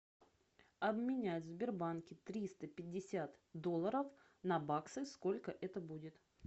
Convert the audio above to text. обменять в сбербанке триста пятьдесят долларов на баксы сколько это будет